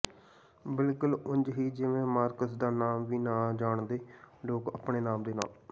ਬਿਲਕੁਲ ਉਂਝ ਹੀ ਜਿਵੇ ਮਾਰਕਸ ਦਾ ਨਾਮ ਵੀ ਨਾ ਜਾਣਦੇ ਲੋਕ ਆਪਣੇ ਨਾਮ ਦੇ ਨਾਲ